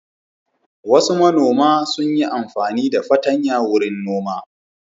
Wasu manoma sun yi amfani da fatanya wurin noma.